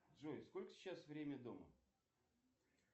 джой сколько сейчас время дома